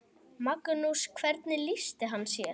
Magnús: Hvernig lýsti hann sér?